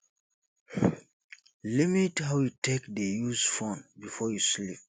limit how you take dey use phone before you sleep